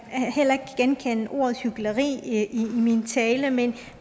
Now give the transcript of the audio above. heller ikke genkende ordet hykleri i min tale men